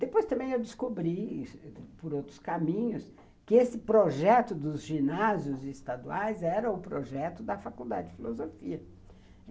Depois também eu descobri, por outros caminhos, que esse projeto dos ginásios estaduais era o projeto da Faculdade de Filosofia.